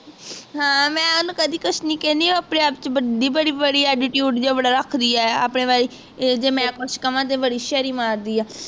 ਹਾਂ ਮੈਂ ਓਹਨੂੰ ਕਦੀ ਕੁਛ ਨਹੀਂ ਕਹਿੰਦੀ ਉਹ ਆਪਣੇ ਆਪ ਚ ਵੱਡੀ ਬੜੀ ਬੜੀ ਚ attitude ਬੜਾ ਰੱਖਦੀ ਹੈ ਆਪਣੀ ਵਾਰੀ ਜੇ ਮੈਂ ਕੁਛ ਕਵਾਂ ਤੇ ਬੜੀ ਹੋਸ਼ਿਯਾਰੀ ਮਾਰਦੀ ਹੈ